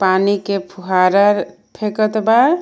पानी के फुहारा फेकत बा.